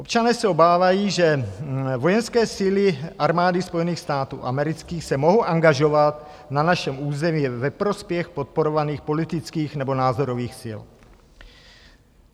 Občané se obávají, že vojenské síly Armády Spojených států amerických se mohou angažovat na našem území ve prospěch podporovaných politických nebo názorových sil.